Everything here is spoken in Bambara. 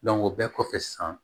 o bɛɛ kɔfɛ sisan